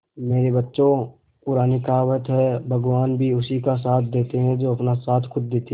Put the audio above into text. मेरे बच्चों पुरानी कहावत है भगवान भी उसी का साथ देते है जो अपना साथ खुद देते है